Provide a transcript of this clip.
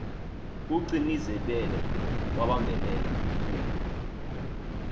kugcinizibele wabambelela kuye